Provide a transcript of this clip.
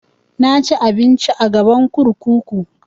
Na ci abinci a gaban kurkuku